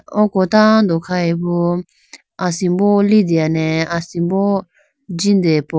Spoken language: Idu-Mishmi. Oko tando kha hoyi bo asimbo litene asimbo jindehoyibo.